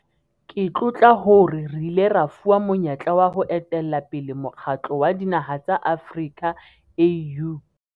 Ke tlotla hore re ile ra fuwa monyetla wa ho etella pele Mokgatlo wa Dinaha tsa Afrika, AU.